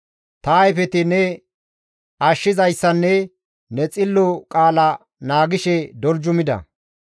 Ta ayfeti ne ashshizayssanne ne xillo qaala naagishe doljumida.